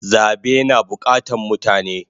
Zabe na bukatan mutane